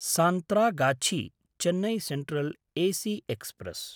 सान्त्रागाछी–चेन्नै central AC express